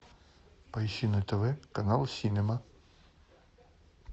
поищи на тв канал синема